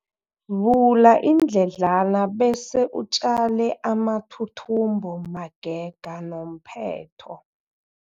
Vula iindledlana bese utjale amathuthumbo magega nomphetho.